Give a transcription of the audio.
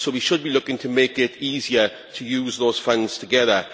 We should be looking to make it easier to use those funds together